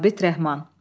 Sabit Rəhman.